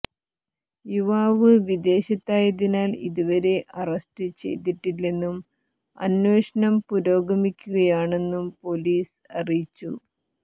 യുവാവ് വിദേശത്തായതിനാൽ ഇതുവരെ അറസ്റ്റ് ചെയ്തിട്ടില്ലെന്നും അന്വേഷണം പുരോഗമിക്കുകയാണെന്നും പൊലീസ് അറിയിച്ചു